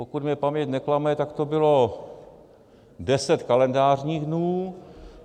Pokud mě paměť neklame, tak to bylo deset kalendářních dnů.